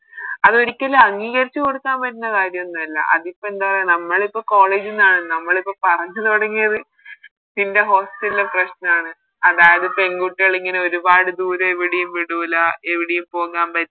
അതൊരിക്കലും അംഗീകരിച്ച് കൊടുക്കാൻ പറ്റുന്ന കാര്യമൊന്നുമല്ല അതിപ്പോ എന്താ നമ്മളിപ്പോ College ന്നാണ് നമ്മളിപ്പോ പറഞ്ഞ് തൊടങ്ങിയത് പിന്നെ Hostel ലെ പ്രശ്നണ് അതായത് പെൺകുട്ടികള് ഇങ്ങനെ ഒരുപാട് ദൂരെ എവിടെയും വിടൂല എവിടെയും പോകാൻ പ